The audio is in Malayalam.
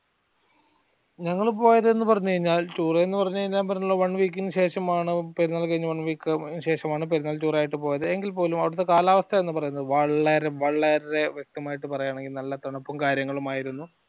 ഞങ്ങൾ പോയതെന്ന് പറഞ്ഞ് കഴിഞ്ഞ ഞാൻ പറഞ്ഞല്ലോ one week ഇനുശേഷം ആണ് പെരുന്നാൾ കഴിഞ് one week ശേഷമാണു പെരുന്നാൾ tour ആയിട്ട് പോയത് എങ്കിൽപ്പോലും അവിടെത്തെ കാലാവസ്ഥ എന്ന് പറയുന്നത് വളരെ വളരെ വ്യക്തമായിട്ടു പറയുമാണെങ്കി നല്ല തണുപ്പും കാര്യങ്ങളും ആയിരുന്നു